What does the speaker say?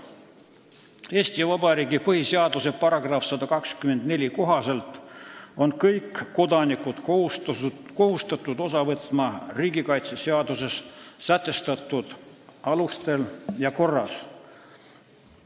Eesti Vabariigi põhiseaduse § 124 kohaselt on kõik kodanikud kohustatud osa võtma riigikaitsest seaduse sätestatud alustel ja korras.